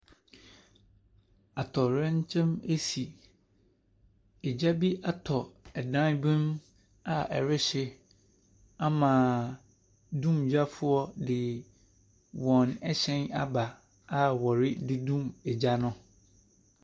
Atɔwrɛnkyɛm ɛsi. Egya bi atɔ ɛdan bi mu a ɛrehyi ama dumgyafoɔ ɛde wɔn ɛhyɛn aba a ɔrededum egya no.